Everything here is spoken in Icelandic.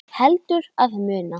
Heldur að muna.